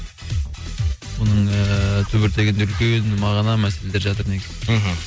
мұның ыыы түбір тегінде үлкен мағына мәселелер жатыр негізі мхм